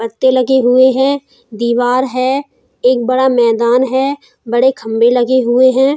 पत्ते लगे हुए हैं। दीवार है। एक बड़ा मैदान है। बड़े खम्बे लगे हुए हैं।